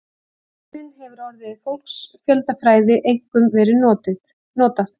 Í staðinn hefur orðið fólksfjöldafræði einkum verið notað.